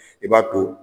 I b'a to